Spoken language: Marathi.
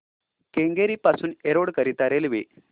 केंगेरी पासून एरोड करीता रेल्वे